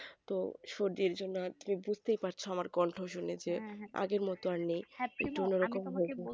তো সত্যি জন্য আর কি বুঝতেই পারছ আমার কন্ঠ শুনে যে আগের মত আর নেই